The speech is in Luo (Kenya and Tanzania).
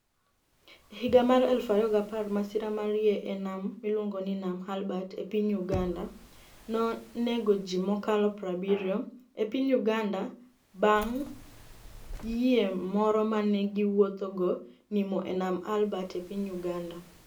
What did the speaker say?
E higa mar 2010, masira mar yie e niam miluonigo nii niam Albert e piniy Uganida, noni ego ji mokalo 70.e piniy Uganida banig' yie moro ma ni e giwuothogo niimo e niam Albert e piniy Uganida